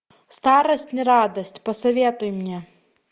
старость не радость посоветуй мне